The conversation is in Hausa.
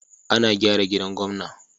Ana gyara gidan gwamna.